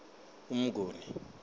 umnguni